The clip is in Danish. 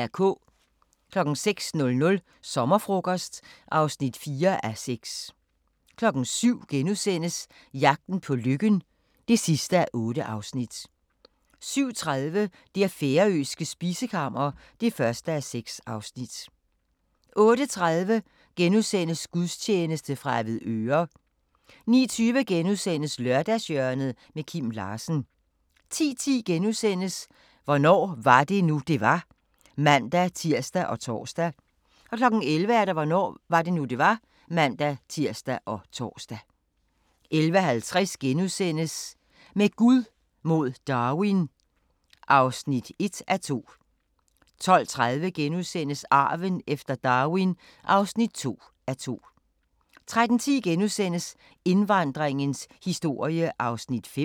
06:00: Sommerfrokost (4:6) 07:00: Jagten på lykken (8:8)* 07:30: Det færøske spisekammer (1:6) 08:30: Gudstjeneste fra Avedøre * 09:20: Lørdagshjørnet – Kim Larsen * 10:10: Hvornår var det nu, det var? *(man-tir og tor) 11:00: Hvornår var det nu, det var? (man-tir og tor) 11:50: Med Gud mod Darwin (1:2)* 12:30: Arven efter Darwin (2:2)* 13:10: Indvandringens historie (5:6)*